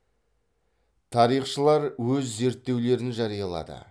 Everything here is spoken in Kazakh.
тарихшылар өз зерттеулерін жариялады